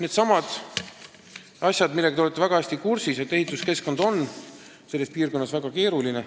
Ehk siis lood on nii, et ehituskeskkond on selles piirkonnas väga keeruline.